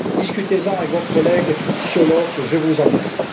Discutez en avec votre collègue Cioloş, je vous en prie.